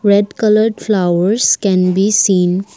red colour flowers can be seen.